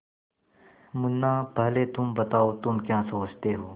मुन्ना पहले तुम बताओ तुम क्या सोचते हो